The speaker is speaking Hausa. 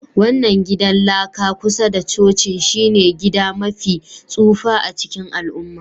wannan gidan laka kusa da cocin shine gida mafi tsufa a cikin al'umma.